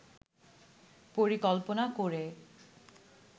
পরিকল্পনা করে